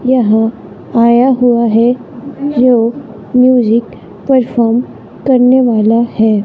यहां आया हुआ है जो म्यूजिक परफॉर्म करने वाला है।